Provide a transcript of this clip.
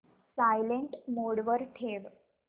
silent mode वर ठेव